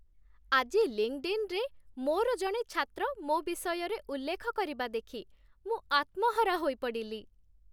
ଆଜି ଲିଙ୍କଡ଼୍‌ଇନ୍‌ରେ ମୋର ଜଣେ ଛାତ୍ର ମୋ ବିଷୟରେ ଉଲ୍ଲେଖ କରିବା ଦେଖି ମୁଁ ଆତ୍ମହରା ହୋଇପଡ଼ିଲି।